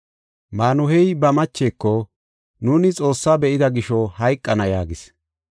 Maanuhey ba macheko, “Nuuni Xoossaa be7ida gisho hayqana” yaagis.